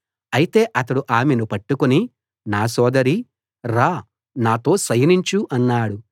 అయితే అతడు ఆమెను పట్టుకుని నా సోదరీ రా నాతో శయనించు అన్నాడు